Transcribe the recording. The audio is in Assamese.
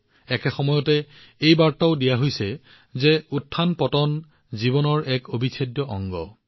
ইয়াৰ লগতে এই বাৰ্তাও জনোৱা হৈছে যে উত্থানপতন জীৱনৰ এক অবিচ্ছেদ্য অংগ